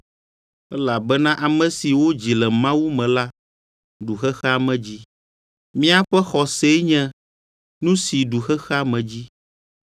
Elabena ame si wodzi le Mawu me la ɖu xexea me dzi. Míaƒe xɔsee nye nu si ɖu xexea me dzi.